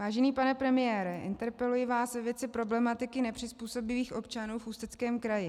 Vážený pane premiére, interpeluji vás ve věci problematiky nepřizpůsobivých občanů v Ústeckém kraji.